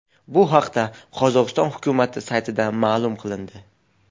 Bu haqda Qozog‘iston hukumati saytida ma’lum qilindi .